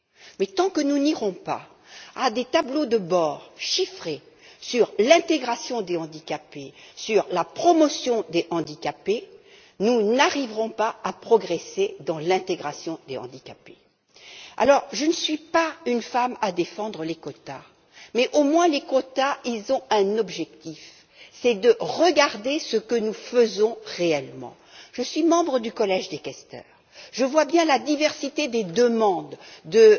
Mais tant que nous n'établirons pas de tableaux de bord chiffrés sur l'intégration des handicapés et sur la promotion des handicapés, nous n'arriverons pas à progresser sur la voie de l'intégration des handicapés. Je ne suis pas femme à défendre les quotas, mais au moins ils ont un objectif, à savoir de regarder ce que nous faisons réellement. Je suis membre du Collège des questeurs, je vois donc bien la diversité des demandes